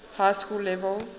high school level